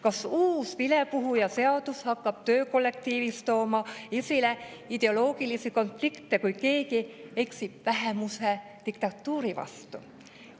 Kas uus vilepuhujaseadus hakkab töökollektiivis tooma esile ideoloogilisi konflikte, kui keegi eksib vähemuse diktatuuri vastu?